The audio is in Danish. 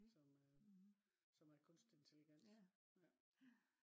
som er kunstig intelligens ja